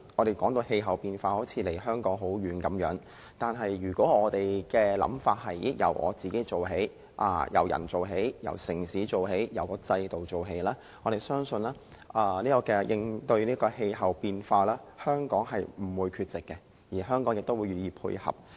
談應對氣候變化好像離我們很遠，但如果我們由自己做起，由個人、由城市及由制度做起，相信應對氣候變化，香港不會缺席並願意配合。